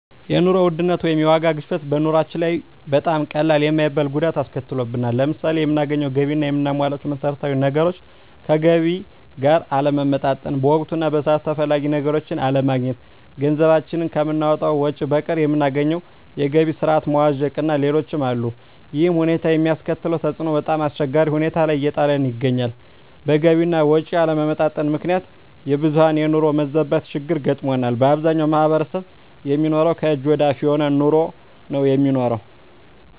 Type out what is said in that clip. የኑሮ ውድነት ወይም የዋጋ ግሽበት በኑሮአችን ላይ በጣም ቀላል የማይባል ጉዳት አስከትሎብናል። ለምሳሌ የምናገኘው ገቢ እና የምናሟላቸው መሠረታዊ ነገሮች ከገቢ ጋር አለመመጣጠን፣ በወቅቱ እና በሰዓቱ ተፈላጊ ነገሮችን አለማግኘት፣ ገንዘባችን ከምናወጣው ወጭ በቀር የምናገኘው የገቢ ስረዓት መዋዠቅእና ሌሎችም አሉ። ይሕም ሁኔታ የሚያስከትለው ተፅዕኖ በጣምአስቸጋሪ ሁኔታ ላይ እየጣለን ይገኛል። በገቢ አና ወጭ አለመመጣጠን ምክንያት የብዙሀን የኑሮ መዛባት ችግር ገጥሞናል። በአብዛኛው ማሕበረሰብ የሚኖረው ከእጅ ወደ አፍ የሆነ ኑሮ ነው የሚኖረው።